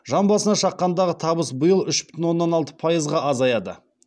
жан басына шаққандағы табыс биыл үш бүтін оннан алты пайызға азаяды